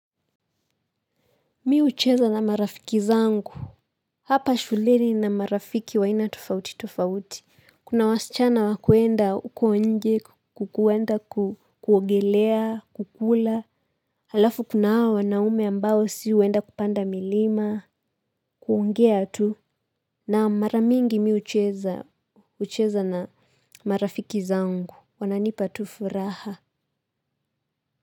Mi hucheza na marafiki zangu. Hapa shuleni nina marafiki waina tofauti tofauti. Kuna wasichana wakuenda huko nje, kukuwenda kuogelea, kukula. Alafu kuna hawa wanaume ambao si huenda kupanda milima, kuongea tu. Na maramingi mi hucheza na marafiki zangu, wananipa tu furaha.